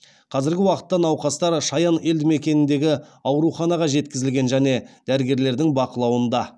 қазіргі уақытта науқастар шаян елдімекеніндегі ауруханаға жеткізілген және дәрігерлердің бақылауында